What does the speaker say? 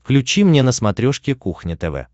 включи мне на смотрешке кухня тв